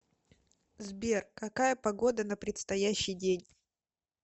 сбер какая погода на предстоящий день